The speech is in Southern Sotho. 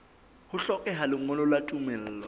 ho hlokeha lengolo la tumello